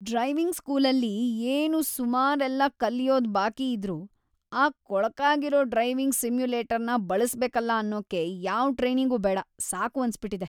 Driving ಸ್ಕೂಲಲ್ಲಿ ಇನ್ನೂ ಸುಮಾರೆಲ್ಲ ಕಲ್ಯೋದ್ ಬಾಕಿಯಿದ್ರೂ ಆ ಕೊಳಕಾಗಿರೋ ಡ್ರೈವಿಂಗ್ ಸಿಮ್ಯುಲೇಟರ್‌ನ ಬಳಸ್ಬೇಕಲ ಅನ್ನೋಕೆ ಯಾವ್‌ ಟ್ರೈನಿಂಗೂ ಬೇಡ, ಸಾಕು ಅನ್ಸ್ಬಿಟಿದೆ.